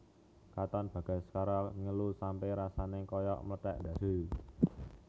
Katon Bagaskara ngelu sampe rasane koyok mlethek ndhas e